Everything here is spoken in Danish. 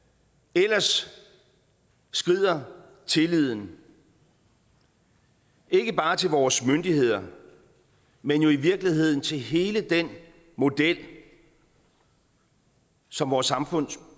ellers skrider tilliden ikke bare til vores myndigheder men jo i virkeligheden til hele den model som vores samfund